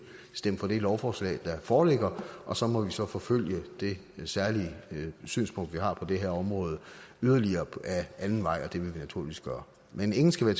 stemme for det lovforslag der foreligger og så må vi så forfølge det særlige synspunkt vi har på det her område yderligere ad anden vej og det vil vi naturligvis gøre men ingen skal være